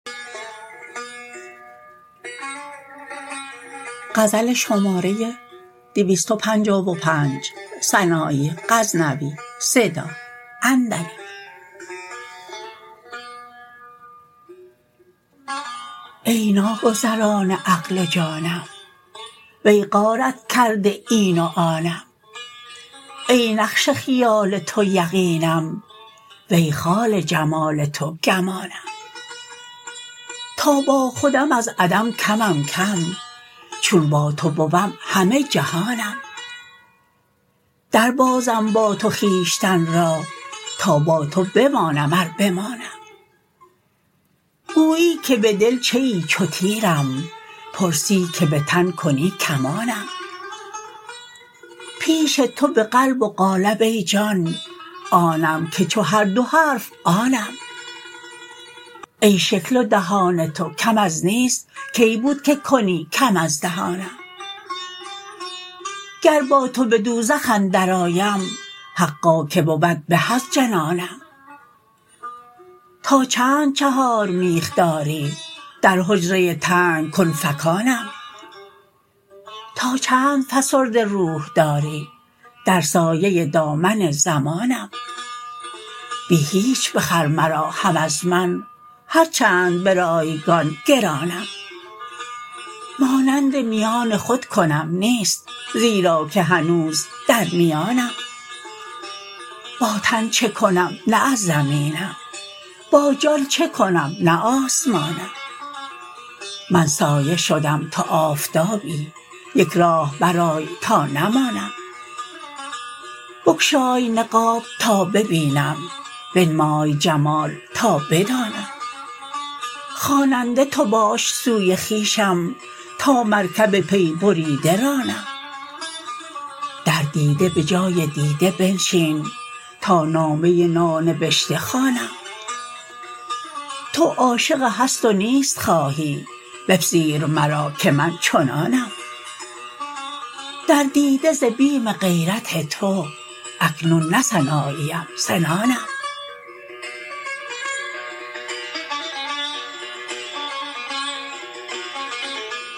ای ناگزران عقل و جانم وی غارت کرده این و آنم ای نقش خیال تو یقینم وی خال جمال تو گمانم تا با خودم از عدم کمم کم چون با تو بوم همه جهانم در بازم با تو خویشتن را تا با تو بمانم ار بمانم گویی که به دل چه ای چو تیرم پرسی که به تن کیی کمانم پیش تو به قلب و قالب ای جان آنم که چو هر دو حرف آنم ای شکل و دهان تو کم از نیست کی بود که کنی کم از دهانم گر با تو به دوزخ اندر آیم حقا که بود به از جنانم تا چند چهار میخ داری در حجره تنگ کن فکانم تا چند فسرده روح داری در سایه دامن زمانم بی هیچ بخر مرا هم از من هر چند برایگان گرانم مانند میان خود کنم نیست زیرا که هنوز در میانم با تن چکنم نه از زمینم با جان چکنم نه آسمانم من سایه شدم تو آفتابی یک راه برآی تا نمانم بگشای نقاب تا ببینم بنمای جمال تا بدانم خواننده تو باش سوی خویشم تا مرکب پی بریده رانم در دیده به جای دیده بنشین تا نامه نانبشته خوانم تو عاشق هست و نیست خواهی بپذیر مرا که من چنانم در دیده ز بیم غیرت تو اکنون نه سناییم سنانم